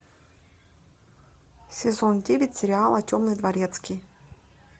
сезон девять сериала темный дворецкий